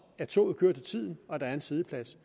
at toget kører til tiden og at der er en siddeplads